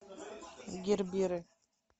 герберы